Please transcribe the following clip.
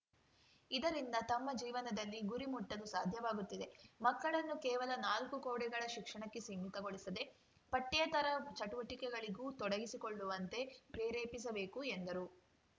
ಇದರಿಂದ ತಮ್ಮ ಜೀವನದಲ್ಲಿ ಗುರಿ ಮುಟ್ಟಲು ಸಾಧ್ಯವಾಗುತ್ತಿದೆ ಮಕ್ಕಳನ್ನು ಕೇವಲ ನಾಲ್ಕು ಗೋಡೆಗಳ ಶಿಕ್ಷಣಕ್ಕೆ ಸೀಮಿತಗೊಳಿಸದೇ ಪಠ್ಯೇತರ ಚಟುವಟಿಕೆಗಳಿಗೂ ತೊಡಗಿಸಿಕೊಳ್ಳುವಂತೆ ಪ್ರೇರೇಪಿಸಬೇಕು ಎಂದರು